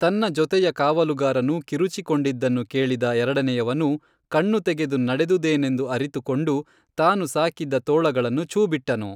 ತನ್ನ ಜೊತೆಯ ಕಾವಲುಗಾರನು ಕಿರುಚಿ ಕೊಂಡಿದನ್ನು ಕೇಳಿದ ಎರಡನೆಯವನು ಕಣ್ಣು ತೆಗೆದು ನಡೆದುದೇನೆಂದು ಅರಿತುಕೊಂಡು ತಾನು ಸಾಕಿದ್ದ ತೋಳಗಳನ್ನು ಛೂ ಬಿಟ್ಟನು